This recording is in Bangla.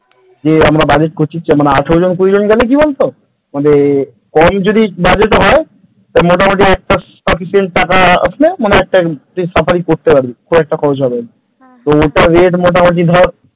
যে আমরা budget করছি আঠেরো জন কুড়ি জন গেলে কি বলতো মানে কম যদি budget হয় মোটি একটা sufficient টাকা মানে মোটামুটি safari করতে পারবি খুব একটা খরচ হবে না তো ওটার rate মোটামুটি ধর,